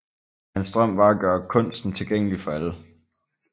Hans drøm var at gøre kunsten tilgængelig for alle